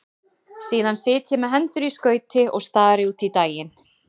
Síðan sit ég með hendur í skauti og stari út í daginn.